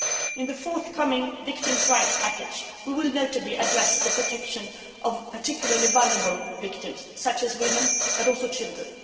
In the forthcoming victims' rights package, we will, notably, address the protection of particularly vulnerable victims such as women, but also children.